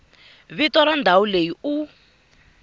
vito ra ndhawu leyi u